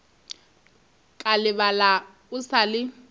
ka lebala o sa le